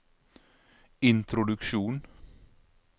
introduksjon